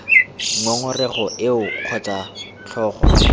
ngongorego eo kgotsa b tlhogo